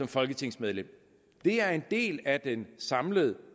folketingsmedlemmer det er en del af den samlede